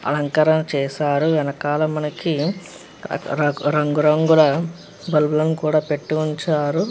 అలంకారాలు చేశారు వెనకాల మనకి రంగు రంగుల బెల్లం కూడా పెట్టి ఉంచారు.